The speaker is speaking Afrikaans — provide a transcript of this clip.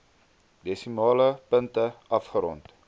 desimale punte afgerond